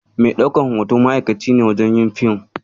Mai ɗaukan hoto ma'akaci ne wajen yin fim.